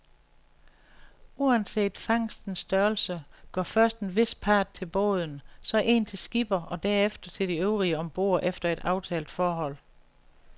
Uanset fangstens størrelse går først en vis part til båden, så en til skipper og derefter til de øvrige om bord efter et aftalt forhold.